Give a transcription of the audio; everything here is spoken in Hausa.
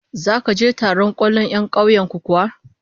Zaka je taron 'yan kwallon kauyen ku kuwa?